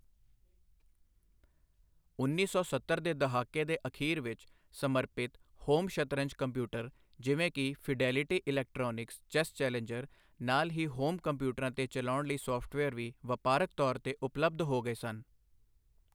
ਉੱਨੀ ਸੌ ਸੱਤਰ ਦੇ ਦਹਾਕੇ ਦੇ ਅਖੀਰ ਵਿੱਚ, ਸਮਰਪਿਤ ਹੋਮ ਸ਼ਤਰੰਜ ਕੰਪਿਊਟਰ ਜਿਵੇਂ ਕਿ ਫਿਡੇਲਿਟੀ ਇਲੈਕਟ੍ਰਾਨਿਕਸ 'ਚੈਸ ਚੈਲੇਂਜਰ, ਨਾਲ ਹੀ ਹੋਮ ਕੰਪਿਊਟਰਾਂ 'ਤੇ ਚਲਾਉਣ ਲਈ ਸੌਫਟਵੇਅਰ ਵੀ, ਵਪਾਰਕ ਤੌਰ 'ਤੇ ਉਪਲਬਧ ਹੋ ਗਏ ਸਨ।